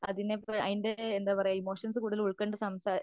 അതിൻറെ എന്താ പറയുക ഇമോഷൻസ് ഉൾക്കൊണ്ട്